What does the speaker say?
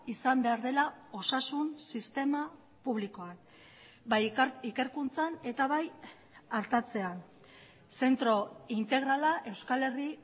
izan behar dela osasun sistema publikoa bai ikerkuntzan eta bai artatzean zentro integrala euskal herri